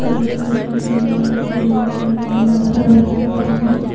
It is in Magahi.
कोई पियर पहिनले हय कोई गुलाबी पहिनले हय लड़का लड़की सब हथि।